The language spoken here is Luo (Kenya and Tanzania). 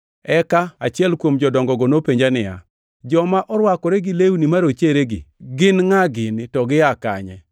Eka achiel kuom jodongogo nopenja niya, “Joma orwakore gi lewni marocheregi gin ngʼa gini, to gia kanye?”